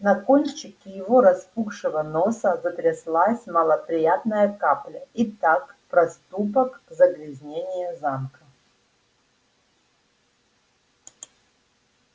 на кончике его распухшего носа затряслась малоприятная капля итак проступок загрязнение замка